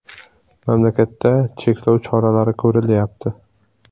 “Mamlakatda cheklov choralari ko‘rilyapti.